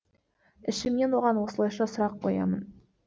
ішімнен оған осылайша сұрақ қоямын